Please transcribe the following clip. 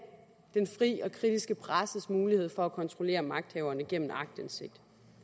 den fri og kritiske presses mulighed for at kontrollere magthaverne gennem aktindsigt